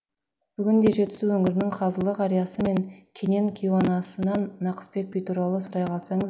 бүгінде жетісу өңірінің қазылы қариясы мен кенен кейуанасынан нақысбек би туралы сұрай қалсаңыз